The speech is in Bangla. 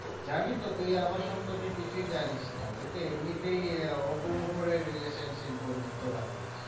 জানিতো তুই আমার সম্পর্কে কিছুই জানিস না, তুই তো এমনিতে ওপর ওপরে relationship বন্ধুত্ব রাখিস